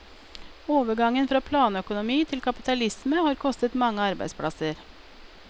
Overgangen fra planøkonomi til kapitalisme har kostet mange arbeidsplasser.